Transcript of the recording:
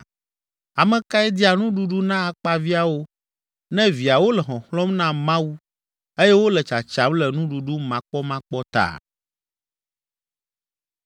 Ame kae dia nuɖuɖu na akpaviãwo, ne viawo le xɔxlɔ̃m na Mawu eye wole tsatsam le nuɖuɖu makpɔmakpɔ ta?